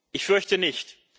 Ich fürchte nicht.